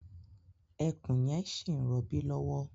Ẹkùn yẹn ṣi ń robí lọ́wọ́